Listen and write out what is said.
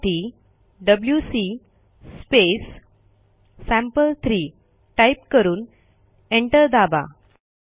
त्यासाठी WC sample three type करून enter दाबा